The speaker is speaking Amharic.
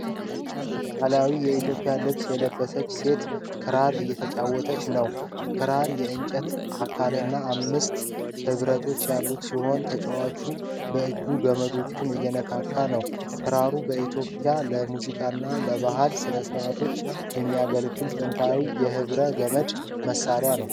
በባህላዊ የኢትዮጵያ ልብስ የለበሰች ሴት ክራር እየተጫወተች ነው። ክራሩ የእንጨት አካልና አምስት ሕብረቶች ያሉት ሲሆን፣ ተጫዋቹ በእጇ ገመዶቹን እየነካች ነው ። ክራሩ በኢትዮጵያ ለሙዚቃና ለባህል ሥነ ሥርዓቶች የሚያገለግል ጥንታዊ የሕብረ ገመድ መሣሪያ ነው።